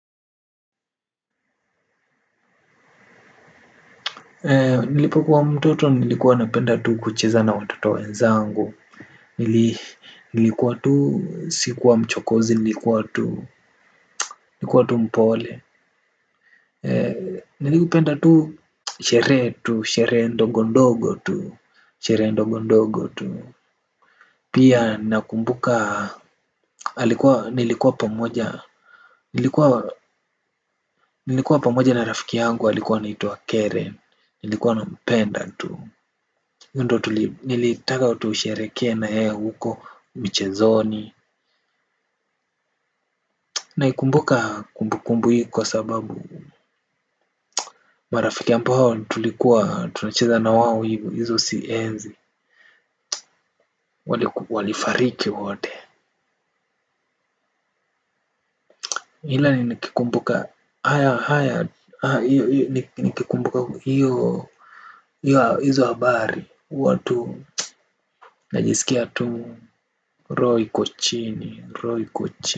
Nilipokuwa mtoto nilikuwa napenda tu kucheza na watoto wenzangu. Nilikuwa tu sikuwa mchokozi nilikuwa tu nilikua tu mpole. Nilipenda tu sherehe tu sherehe ndogondogo tu. Pia nakumbuka nilikuwa pamoja na rafiki yangu halikuwa naituwa keren. Nilikuwa napenda tu. Niliitaka tusherekee nayeye huko michezoni. Naikumbuka kumbukumbu hii kwa sababu marafiki ambao tulikuwa tunacheza nawao hivyo hizo si enzi. Walifariki wote. Hila ni nikumbuka haya haya nikumbuka hiyo hizo habari. Watu. Najisikia tu roho iko chini roho iko chini.